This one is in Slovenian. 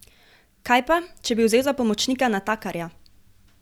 Kaj pa, če bi vzel za pomočnika natakarja?